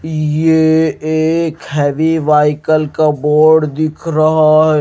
ये एक heavy vehicle का बोर्ड दिख रहा है।